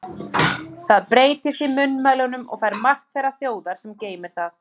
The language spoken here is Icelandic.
Það breytist í munnmælunum og fær mark þeirrar þjóðar, sem geymir það.